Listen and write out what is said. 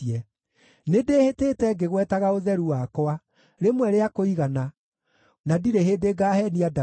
Nĩndĩhĩtĩte ngĩgwetaga ũtheru wakwa, rĩmwe rĩa kũigana, na ndirĩ hĩndĩ ngaaheenia Daudi,